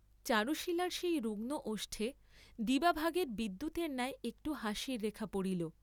চারুশীলার সেই রুগ্ন ওষ্ঠে দিবাভাগের বিদ্যুতের ন্যায় একটু হাসির রেখা পড়িল।